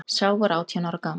Sá var átján ára gamall